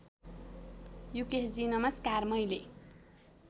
युकेशजी नमस्कार मैले